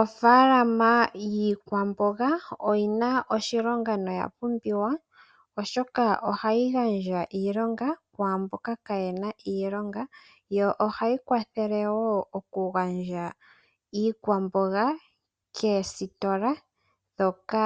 Ofaalama yiikwamboga oyina oshilonga noya pumbiwa, oshoka ohayi gandja iilonga kwaamboka kaaye na iilonga, yo ohayi kwathele wo oku gandja iikwamboga koositola ndhoka